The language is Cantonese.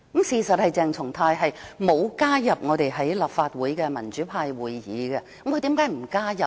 事實上，鄭松泰議員並無加入立法會的民主派會議，他為何不加入呢？